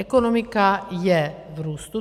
Ekonomika je v růstu.